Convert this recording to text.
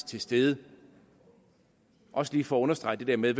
til stede også lige for at understrege det der med